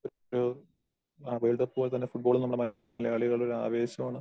ഒരു ഒരു world cup പോലെത്തന്നെ ഫുട്ബോൾ നമ്മടെ മലയാളികളുടെ ഒരു ആവേശമാണ്.